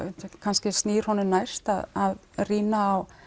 kannski snýr honum næst að rýna á